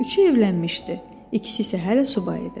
Üçü evlənmişdi, ikisi isə hələ subay idi.